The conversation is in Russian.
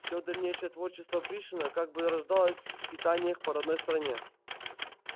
все дальнейшее творчество пришвина как бы рождалось в скитаниях по родной стране